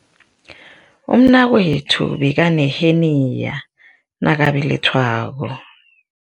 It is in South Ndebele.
Umnakwethu bekaneheniya nakabelethwako.